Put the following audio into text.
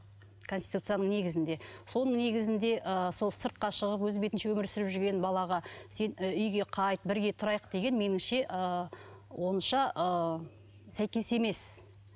конституцияның негізінде соның негізінде ы сол сыртқа шығып өз бетінше өмір сүріп жүрген балаға сен і үйге қайт бірге тұрайық деген меніңше ы онша ы сәйкес емес